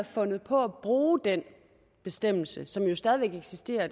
fandt på at bruge den bestemmelse som jo stadig væk eksisterer og